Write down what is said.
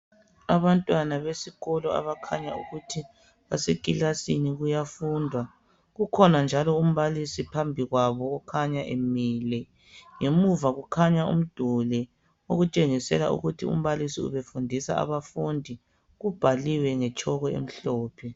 Abantwana besikolo abakhanya ukuthi basekilasini kuyafundwa, ukhona njalo umbalisi phambi kwabo okhanya emile. Ngemuva kukhanya umduli okutshengisela ukuthi umbalisi ubefundisa abafundi. Kubhaliwe ngetshoko emhlophe.